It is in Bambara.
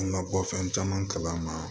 An ka bɔ fɛn caman kala ma